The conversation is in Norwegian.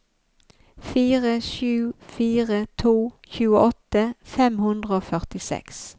fire sju fire to tjueåtte fem hundre og førtiseks